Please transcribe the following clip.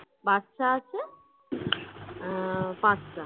বাচ্চা আছে অ্যাঁ পাঁচটা